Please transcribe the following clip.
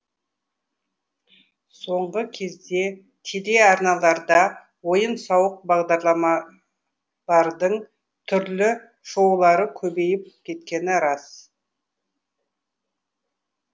соңғы кезде телеарналарда ойын сауық бағдарламалардың түрлі шоулардың көбейіп кеткені рас